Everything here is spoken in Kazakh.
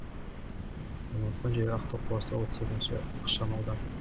орналасқан жері ақтау қаласы отыз екінші ықшам аудан